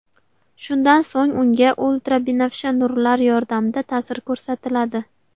Shundan so‘ng unga ultrabinafsha nurlar yordamida ta’sir ko‘rsatiladi.